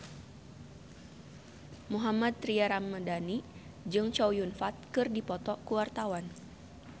Mohammad Tria Ramadhani jeung Chow Yun Fat keur dipoto ku wartawan